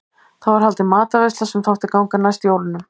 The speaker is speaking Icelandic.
Þá var haldin matarveisla sem þótti ganga næst jólunum.